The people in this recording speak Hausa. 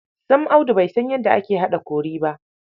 Sam Audu bai san yadda ake haɗa kori ba!